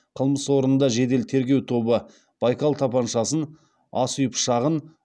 қылмыс орнында жедел тергеу тобы байкал тапаншасын ас үй пышағын